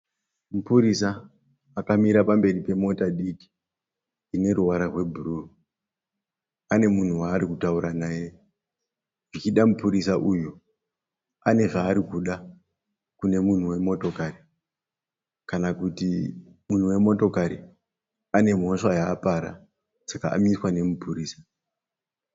Mupurisa akamira pamberi pemota diki ineruvara rwebhuruu. Anemunhu waarukutaura naye zvichida mupurisa uyu anezvaarikuda kunemunhu wemotokari. Kana kuti munhu wemotokari anemhosva yaapara, saka amiswa nemupurisa.